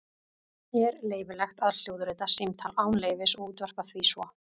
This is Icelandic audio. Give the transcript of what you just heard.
Er leyfilegt að hljóðrita símtal án leyfis og útvarpa því svo?